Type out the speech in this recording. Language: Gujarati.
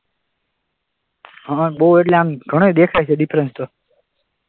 હા બહુ એટલે આમ ઘણાય દેખાય છે ડિફરન્સ તો,